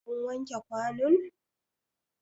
Kun wanke kwanun?